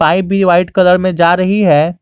White colour में जा रही है।